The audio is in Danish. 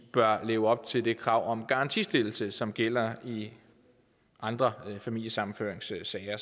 bør leve op til det krav om garantistillelse som gælder i andre familiesammenføringssager